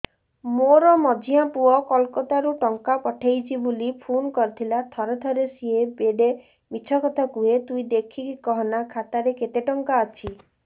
ମୋର ମଝିଆ ପୁଅ କୋଲକତା ରୁ ଟଙ୍କା ପଠେଇଚି ବୁଲି ଫୁନ କରିଥିଲା ଥରେ ଥରେ ସିଏ ବେଡେ ମିଛ କଥା କୁହେ ତୁଇ ଦେଖିକି କହନା ଖାତାରେ କେତ ଟଙ୍କା ଅଛି